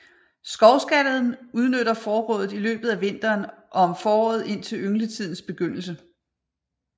Skovskaden udnytter forrådet i løbet af vinteren og om foråret indtil yngletidens begyndelse